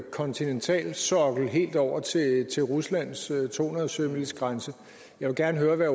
kontinentalsokkel helt over til ruslands to hundrede sømilegrænse jeg vil gerne høre